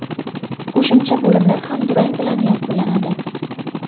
Qo‘shimcha bo‘limlar ham durang bilan yakunladi.